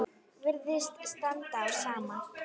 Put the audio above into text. Virðist standa á sama.